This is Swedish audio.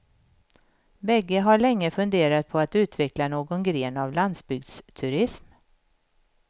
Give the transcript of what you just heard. Bägge har länge funderat på att utveckla någon gren av landsbygdsturism.